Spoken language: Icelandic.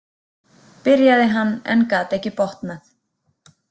, byrjaði hann en gat ekki botnað.